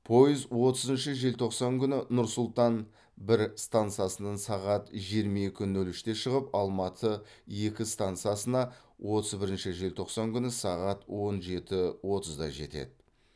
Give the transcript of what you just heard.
пойыз отызыншы желтоқсан күні нұр сұлтан бір стансасынан сағат жиырма екі нөл үш те шығып алматы екі стансасына отыз бірінші желтоқсан күні сағат он жеті отыз да жетеді